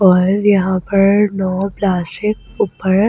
और यहां पर नो प्लास्टिक ऊपर --